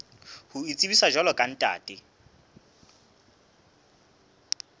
ho itsebisa jwalo ka ntate